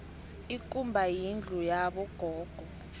ikumba yindlu yabo gogo